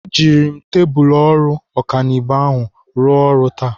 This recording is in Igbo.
Ejiri m tebụl ọrụ ọkanibo ahụ rụọ ọrụ taa.